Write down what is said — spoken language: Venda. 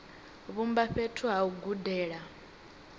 vhumba fhethu ha u gudela